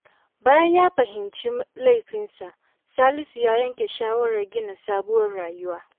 Bayan ya fahimci laifinsa, Salisu ya yanke shawarar gina sabuwar rayuwa.